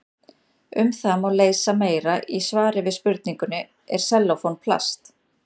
Um það má lesa meira í svari við spurningunni Er sellófan plast?